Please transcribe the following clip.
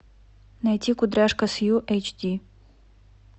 найти кудряшка сью эйч ди